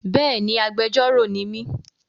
Béèni, agbẹjọ́rọ̀ ni mí.